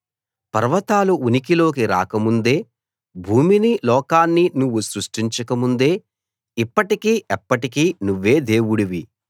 పర్వతాలు ఉనికిలోకి రాకముందే భూమినీ లోకాన్నీ నువ్వు సృష్టించకముందే ఇప్పటికీ ఎప్పటికీ నువ్వే దేవుడివి